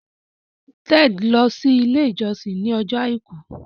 Ted lọ si ile ijọsin ní Ọjọ́ aìkú.